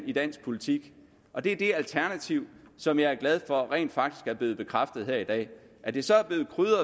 i dansk politik og det er det alternativ som jeg er glad for rent faktisk er blevet bekræftet her i dag at det så er blevet krydret